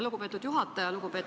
Lugupeetud juhataja!